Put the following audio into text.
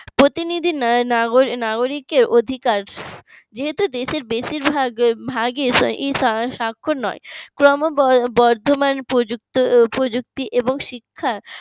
প্রতিটি নাগ নাগরিকের অধিকার দেহতু দেশের বেশিরভাগ বেশিরভাগ স্বাক্ষর নয়। ক্রমবর্ধমান প্রযুক্তি এবং শিক্ষা